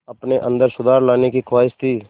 अपने अंदर सुधार लाने की ख़्वाहिश थी